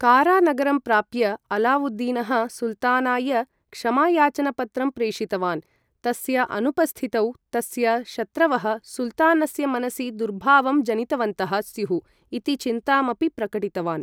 कारा नगरं प्राप्य, अलावुद्दीनः सुल्तानाय क्षमायाचनपत्रं प्रेषितवान्, तस्य अनुपस्थितौ, तस्य शत्रवः सुल्तानस्य मनसि दुर्भावं जनितवन्तः स्युः इति चिन्ताम् अपि प्रकटितवान्।